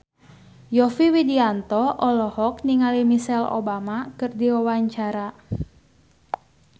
Yovie Widianto olohok ningali Michelle Obama keur diwawancara